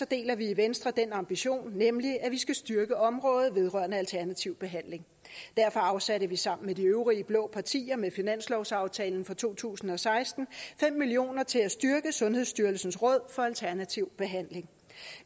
deler vi i venstre den ambition at vi skal styrke området vedrørende alternativ behandling derfor afsatte vi sammen med de øvrige blå partier med finanslovsaftalen for to tusind og seksten fem million kroner til at styrke sundhedsstyrelsens råd for alternativ behandling